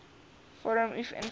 vorm uf invul